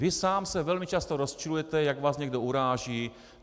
Vy sám se velmi často rozčilujete, jak vás někdo uráží.